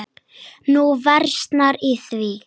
Nú versnar í því.